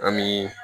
An bi